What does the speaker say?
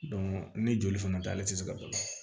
ni joli fana tɛ ale tɛ se ka dɔn